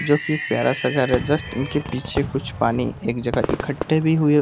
जो कि प्यारा-सा घर है जस्ट उनके पीछे कुछ पानी एक जगह इकट्ठे भी हुए --